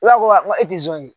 I b'a ko wa wa e tɛ zon ye.